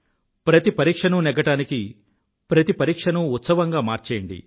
ప్రతి పరీక్షనూ నెగ్గడానికి ప్రతి పరీక్షనూ ఉత్సవంగా మార్చేయండి